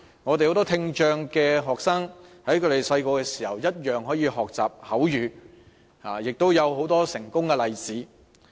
很多聽障學生在小時候同樣可以學習口語，亦有很多成功的例子。